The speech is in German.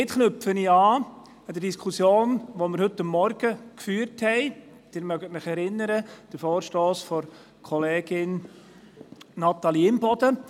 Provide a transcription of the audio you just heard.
Damit knüpfe ich an unsere heute Morgen geführte Diskussion an – Sie erinnern sich – zum Vorstoss von Kollegin Natalie Imboden